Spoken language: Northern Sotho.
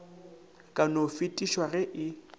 ka no fedišwa ge e